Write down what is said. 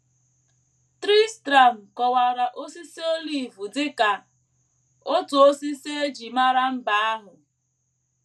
Tristram kọwara osisi olive dị ka “ otu osisi e ji mara mba ahụ. ”